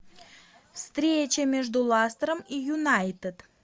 встреча между ластером и юнайтед